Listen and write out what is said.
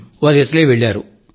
వారు ఇటలీ వెళ్లారు